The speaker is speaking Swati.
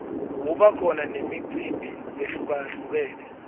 kuba khona nemicimbi lehlukalhlukene